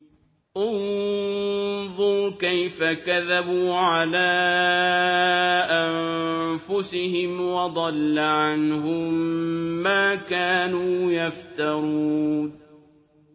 انظُرْ كَيْفَ كَذَبُوا عَلَىٰ أَنفُسِهِمْ ۚ وَضَلَّ عَنْهُم مَّا كَانُوا يَفْتَرُونَ